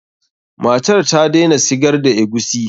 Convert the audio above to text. Matar ta daina sigar da eguisi.